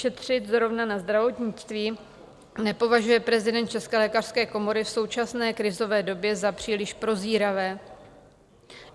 Šetřit zrovna na zdravotnictví, nepovažuje prezident České lékařské komory v současné krizové době za příliš prozíravé.